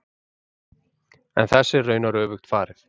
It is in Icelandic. En þessu er raunar öfugt farið.